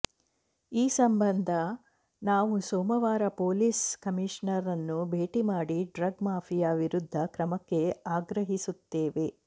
ಈ ಸಂಬಂಧ ನಾವು ಸೋಮವಾರ ಪೊಲೀಸ್ ಕಮೀಷನರ್ ರನ್ನು ಭೇಟಿ ಮಾಡಿ ಡ್ರಗ್ ಮಾಫಿಯಾ ವಿರುದ್ದ ಕ್ರಮಕ್ಕೆ ಆಗ್ರಹಿಸುತ್ತೇವೆ